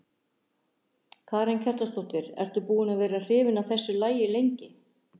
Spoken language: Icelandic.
Karen Kjartansdóttir: Ertu búin að vera hrifin af þessu lagi lengi?